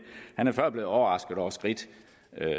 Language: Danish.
han er før blevet overrasket over skridt